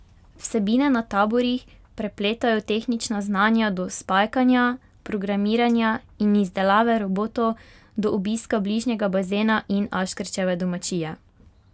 Vsebine na taborih prepletajo tehnična znanja od spajkanja, programiranja in izdelave robotkov do obiska bližnjega bazena in Aškerčeve domačije.